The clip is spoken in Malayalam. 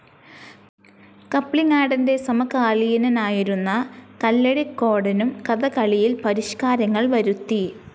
കപ്ലിങ്ങാടൻ്റെ സമകാലീനനായിരുന്ന കല്ലടിക്കോടനും കഥകളിയിൽ പരിഷ്‌കാരങ്ങൾ വരുത്തി